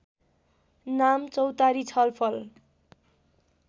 नाम चौतारी छलफल